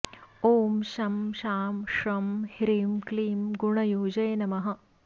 ॐ शं शां षं ह्रीं क्लीं गुणयुजे नमः